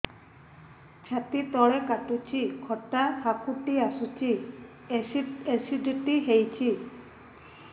ଛାତି ତଳେ କାଟୁଚି ଖଟା ହାକୁଟି ଆସୁଚି ଏସିଡିଟି ହେଇଚି